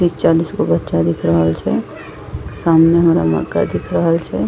तीस-चालीस गो बच्चा दिख रहल छे सामने हमरा मकई दिख रहल छे।